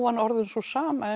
var orðin sú sama